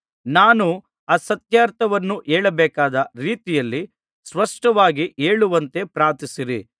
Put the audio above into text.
ನಾನು ಆ ಸತ್ಯಾರ್ಥವನ್ನು ಹೇಳಬೇಕಾದ ರೀತಿಯಲ್ಲಿ ಸ್ಪಷ್ಟವಾಗಿ ಹೇಳುವಂತೆ ಪ್ರಾರ್ಥಿಸಿರಿ